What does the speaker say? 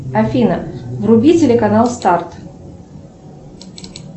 афина вруби телеканал старт